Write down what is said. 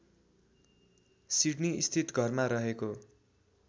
सिड्नीस्थित घरमा रहेको